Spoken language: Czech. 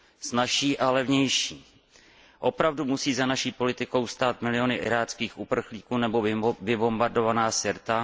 Snazší a levnější. Opravdu musí za naší politikou stát miliony iráckých uprchlíků nebo vybombardovaná Sirta?